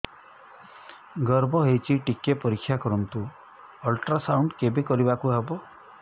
ଗର୍ଭ ହେଇଚି ଟିକେ ପରିକ୍ଷା କରନ୍ତୁ ଅଲଟ୍ରାସାଉଣ୍ଡ କେବେ କରିବାକୁ ହବ